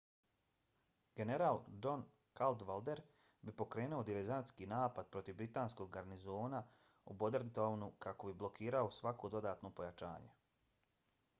general john cadwalder bi pokrenuo diverzantski napad protiv britanskog garnizona u bordentown-u kako bi blokirao svako dodatno pojačanje